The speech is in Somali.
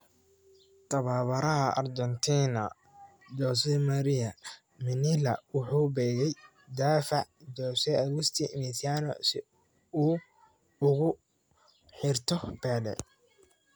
Tababaraha Argentina, Jose Maria Minella, wuxuu beegay daafaca Jose Agusti Mesiano si uu ugu xirto Pele.